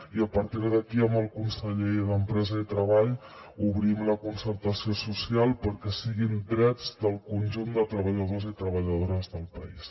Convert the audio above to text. i a partir d’aquí amb el conseller d’empresa i treball obrim la concertació social perquè siguin drets del conjunt de treballadors i treballadores del país